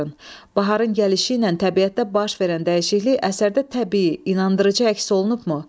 Baharın gəlişi ilə təbiətdə baş verən dəyişiklik əsərdə təbii, inandırıcı əks olunubmu?